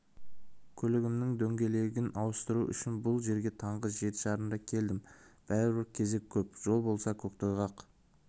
көлігімнің дөңгелегін ауыстыру үшін бұл жерге таңғы жеті жарымда келдім бәрібір кезек көп жол болса көктайғақ